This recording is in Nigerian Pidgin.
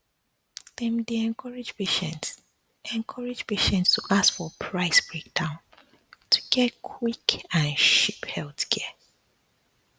dem dey um encourage patients encourage patients um to ask for price breakdown to get quick and cheap healthcare